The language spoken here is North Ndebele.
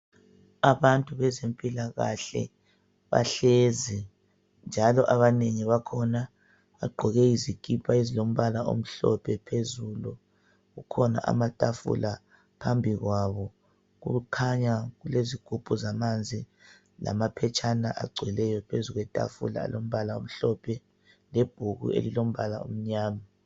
Abantu bezempilakahle bahlezi njalo abanengi bakhona bagqoke izikipa ezilombala omhlophe phezulu. Kukhona amatafula phambi kwabo. Kukhanya kulezigubhu zamanzi lamaphetshana agcweleyo phezu kwetafula alombala omhlophe lebhuku elilombala omnyama.